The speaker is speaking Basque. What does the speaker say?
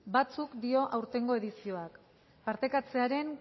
batzuk dio aurtengo edizioak partekatzearen